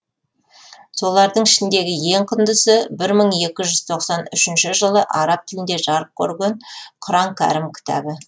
солардың ішіндегі ең құндысы бір мың екі жүз тоқсан үшінші жылы араб тілінде жарық көрген құран кәрім кітабы